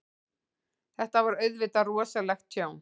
Þetta var auðvitað rosalegt tjón.